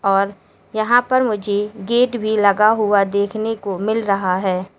और यहां पर मुझे गेट भी लगा हुआ देखने को मिल रहा है।